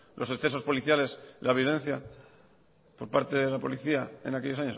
los excesos policiales la violencia por parte de la policía en aquellos